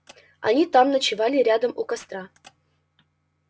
они там ночевали рядом у костра